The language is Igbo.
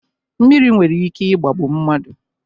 Mmiri nwere ike ị̀gbàgbù mmadụ.